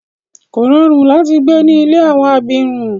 Kò rọrùn láti gbé ní ilé àwọn abirùn.